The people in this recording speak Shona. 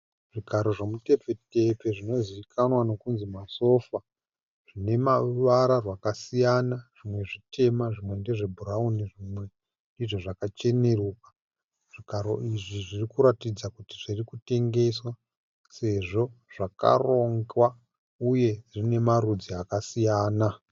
Zvigaro zvemutepfetepfe zvinozivikanwa nekunzi masofa. Zvine mavara rwakasiyana zvimwe zvitema zvimwe ndezve bhurauni zvimwe ndizvo zvakacheneruka. Zvigaro izvi zvirikuratidza kuti zviri kutengeswa sezvo zvakarongwa uye zvine marudzi akasiyana.